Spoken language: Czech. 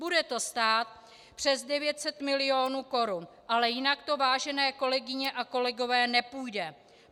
Bude to stát přes 900 milionů korun, ale jinak to, vážené kolegyně a kolegové, nepůjde.